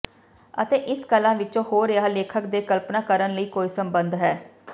ਅਤੇ ਇਸ ਕਲਾ ਵਿਚ ਹੋ ਰਿਹਾ ਲੇਖਕ ਦੇ ਕਲਪਨਾ ਕਰਨ ਲਈ ਕੋਈ ਸਬੰਧ ਹੈ